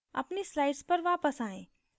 अपनी slides पर वापस आएँ